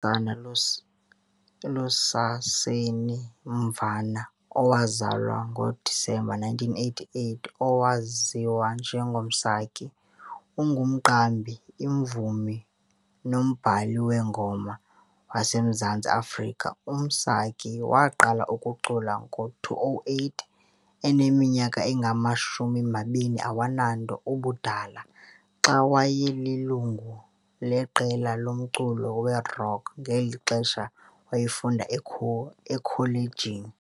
U-Asanda Lusaseni Mvana, owazalwa ngoDisemba 1988, owaziwa njengo Msaki, ungumqambi, imvumi nombhali weengoma waseMzantsi Afrika. UMsaki waa-qala ukucula ngo-2008, eneminyaka engama-20 ubudala, xa wayelilungu leqela lomculo werock ngelixa wayefunda ekholejini.